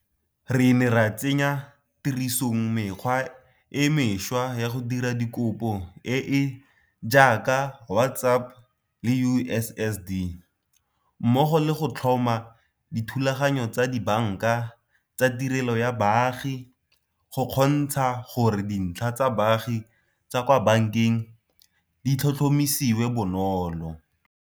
Re ne ra tsenya tirisong mekgwa e mešwa ya go dira dikopo e e jaaka WhatsApp le USSD, mmogo le go tlhoma dithulaganyo tsa dibanka tsa tirelo ya baagi go kgontsha gore dintlha tsa baagi tsa kwa bankeng di tlhotlhomisiwe bonolo.